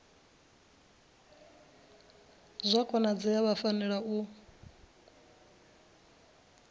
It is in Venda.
zwa konadzea vha fanela u